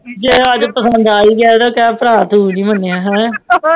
ਜੇ ਆਹ ਪਸੰਦ ਆ ਹੀ ਗਈ ਤੇ ਕਹਿ ਭਰਾ ਤੂੰ ਨੀ ਮਾਣਿਆ ਫੇਰ